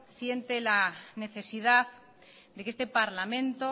siente la necesidad de que este parlamento